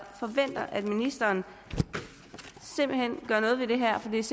forventer at ministeren gør noget ved det her for det er